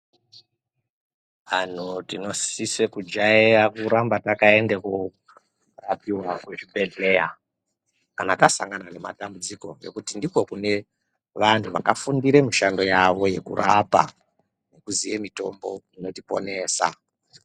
Antu tinosise kujaira kuramba takaenda korapiva kuzvibhedhleya kanatasangana ngematambudziko. Ngekuti ndiko kune vantu vakafundire mishando yavo yekurapa nekuziye mitombo inotiponesa.